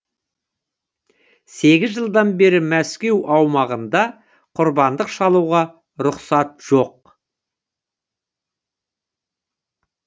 сегіз жылдан бері мәскеу аумағында құрбандық шалуға рұқсат жоқ